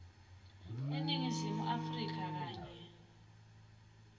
eningizimu afrika kanye